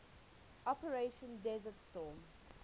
operation desert storm